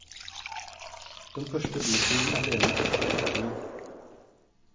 Den første byturen alene etter flyttingen.